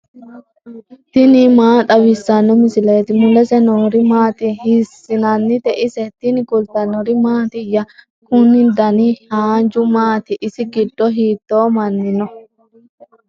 tini maa xawissanno misileeti ? mulese noori maati ? hiissinannite ise ? tini kultannori mattiya? Kunni danna haanju maatti? isi giddo hiitto manni noo?